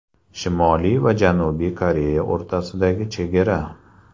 Shimoliy va Janubiy Koreya o‘rtasidagi chegara.